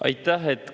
Aitäh!